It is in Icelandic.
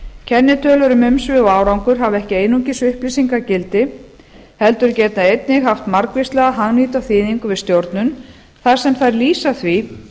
kennitölur um umsvif og árangur hafa ekki einungis upplýsingagildi heldur geta einnig haft margvíslega hagnýta þýðingu við stjórnun þar sem þær lýsa því